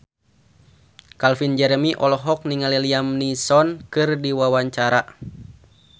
Calvin Jeremy olohok ningali Liam Neeson keur diwawancara